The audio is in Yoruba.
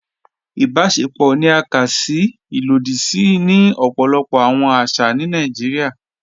Ìbàṣẹ̀pọ̀ ni à ká sí ilòdì sí ni ọpọlọpọ̀ awọn àṣà ni Naijíríà.